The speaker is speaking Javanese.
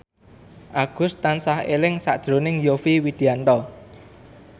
Agus tansah eling sakjroning Yovie Widianto